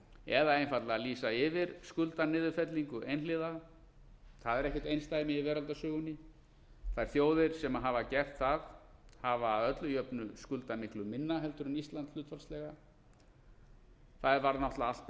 eða einfaldlega lýsa yfir skuldaniðurfellingu einhliða það er ekkert einsdæmi í veraldarsögunni þær þjóðir sem hafa gert það hafa að öllu jöfnu skuldað miklu minna heldur en ísland hlutfallslega það varð náttúrlega allt